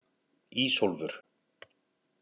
Ísólfur